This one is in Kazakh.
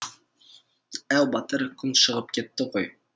әу батыр күн шығып кетті ғой